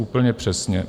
Úplně přesně.